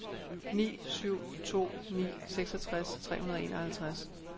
ni syv to ni seksogtres tre hundrede og enoghalvtreds